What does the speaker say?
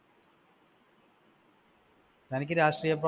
തനിക്ക് രാഷ്ട്രീയപാ